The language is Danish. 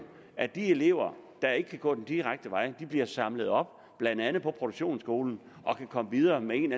at de elever der ikke kan gå den direkte vej bliver samlet op blandt andet på produktionsskolen og kan komme videre med en